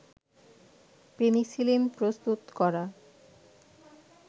penicillin প্রস্তুত করা